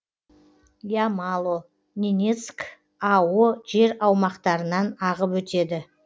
ямало ненецк ао жер аумақтарынан ағып өтеді